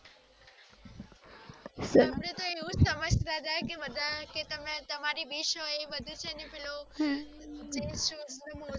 અપડે એવુજ સમાજ તા હતા કે તમે તમારી wish હોઈ બધી જેને પેલું